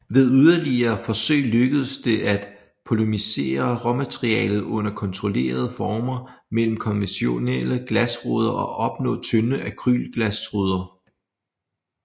Ved yderligere forsøg lykkedes det at polymerisere råmaterialet under kontrollerede former mellem konventionelle glasruder og opnå tynde akrylglasruder